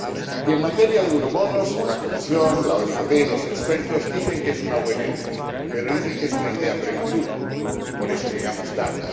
Y en materia de euroobligaciones, la Comisión, la OCDE, los expertos dicen que es una buena idea, pero dicen que es una idea prematura, y por eso llegamos tarde.